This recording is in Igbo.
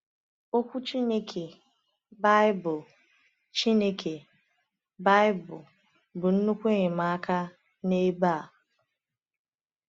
Okwu Chineke, Baịbụl, Chineke, Baịbụl, bụ nnukwu enyemaka n’ebe a.